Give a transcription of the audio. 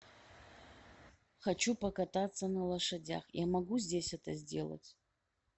хочу покататься на лошадях я могу здесь это сделать